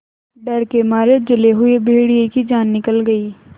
डर के मारे जले हुए भेड़िए की जान निकल गई